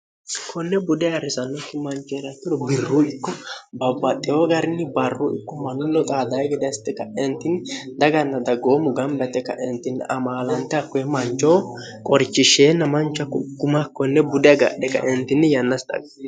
konne bude arrisannokki manchoeraturo birruu ikko babbaxxeho garni barru ikkummnno loxadae gedaste kaentinni daganna daggoommu gamlate kaentinni amaalante kkoe manchoo qorichishsheenna mancha kugguma konne bude agadhe kaentinni yannasi xaga